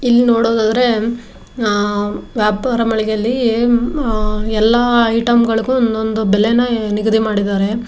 ಇಲ್ಲಿ ನೋಡೋದಾದ್ರೆ ಆಹ್ ವ್ಯಾಪಾರ ಮಳಿಗೆಯಲ್ಲಿ ಆಹ್ ಎಲ್ಲಾ ಐಟೆಮ್ಗಳಿಗೂ ಒಂದ ಒಂದು ಬೆಲೆನಾ ನಿಗದಿ ಮಾಡಿದಾರೆ.